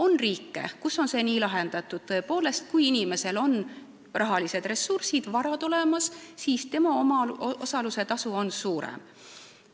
On riike, kus see on nii lahendatud, tõepoolest, et kui inimesel on rahalised ressursid, vara, siis tema omaosalus on suurem.